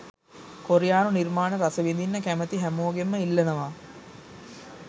කොරියානු නිර්මාණ රසවිදින්න කැමති හැමෝගෙන්ම ඉල්ලනවා